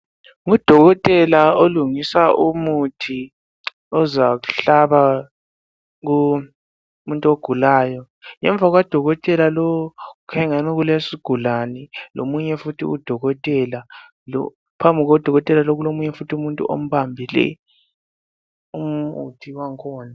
Ngudokotela olungisa umuthi ozawuhlaba umuntu ogulayo. Ngemva kukadokotela lowu kukhanya engani kulesigulane lomunye futhi udokotela. Phambi kukadokotela lo kulomunye umuntu futhi ombambileyo umuthi wangikhona.